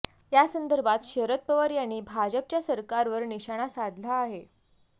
यासंदर्भात शरद पवार यांनी भाजपच्या सरकारवर निशाणा साधला आहे